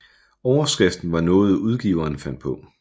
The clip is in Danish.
Overskriften var noget udgiveren fandt på